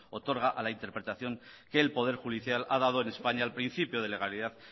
otorga a la interpretación que el poder judicial ha dado en españa al principio de legalidad